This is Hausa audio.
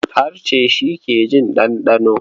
Harshe shi ke jin ɗanɗano.